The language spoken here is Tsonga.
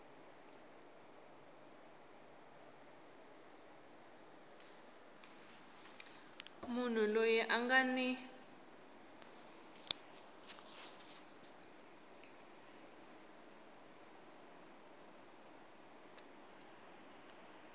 munhu loyi a nga ni